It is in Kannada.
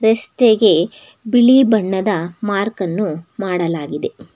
ರಸ್ತೆಗೆ ಬಿಳಿ ಬಣ್ಣದ ಮಾರ್ಕ್ ಅನ್ನು ಮಾಡಲಾಗಿದೆ